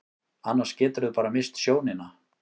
Annars geturðu bara misst sjónina.